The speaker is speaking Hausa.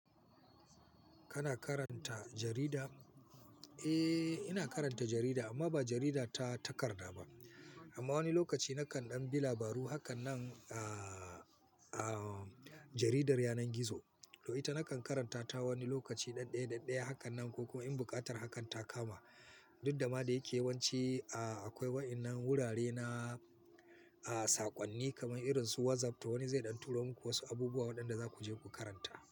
Kana karanta jarida? Eh, ina karanta jarida amma ba jarida ta takarda ba. Amma wani lokaci nakan ɗan bi labaru hakan nan, a jaridar yanar gizo. To ita nakan karanta ta wani lokaci ɗanɗaye, ɗanɗaye hakan nan ko kuma in buƙatar hakan ta kama. Duk da ma da yake yawance, akwai waɗannan wurare na, saƙonni kamar irin su WhatsApp to wani zai ɗan turo muku wasu abubuwa waɗanda za ku je ku karanta.